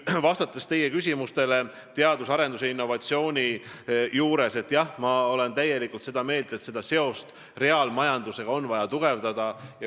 Vastates teie küsimusele teadus- ja arendustegevuse innovatsiooni kohta, ütlen, et jah, ma olen täielikult seda meelt, et seost reaalmajandusega on vaja tugevdada.